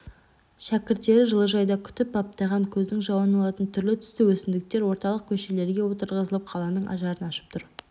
шәкірттер жылыжайда күтіп баптаған көздің жауын алатын түрлі-түсті өсімдіктер орталық көшелерге отырғызылып қаланың ажарын ашып тұр